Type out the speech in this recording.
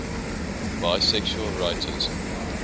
bisexual writers